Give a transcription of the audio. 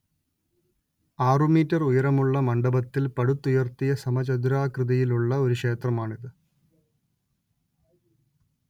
ആറുമീറ്റർ ഉയരമുള്ള മണ്ഡപത്തിൽ പടുത്തുയർത്തിയ സമചതുരാകൃതിയിലുള്ള ഒരു ക്ഷേത്രമാണിത്